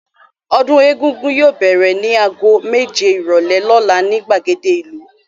Ọdún Egúngún yóò bẹ̀rẹ̀ ní ago méje ìrọ́lẹ́ lọ́la ní ìgbàgede ìlú.